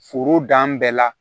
Foro dan bɛɛ la